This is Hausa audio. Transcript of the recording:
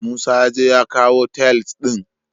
Musa yaje ya kawu tiles ɗin.